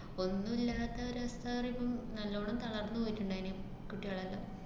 ഒന്നുമില്ലാത്ത നല്ലോണം തളര്‍ന്നു പോയിട്ട്ണ്ടായിന്, കുട്ടികളൊക്കെ.